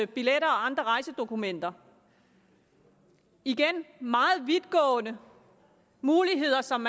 billetter og andre rejsedokumenter igen er meget vidtgående muligheder som